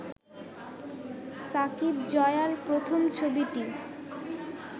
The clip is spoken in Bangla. সাকিব-জয়ার প্রথম ছবিটি